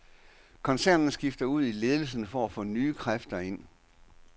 Koncernen skifter ud i ledelsen for at få nye kræfter ind.